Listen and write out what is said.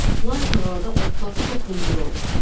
Lakin orada otlar çox hündür olur.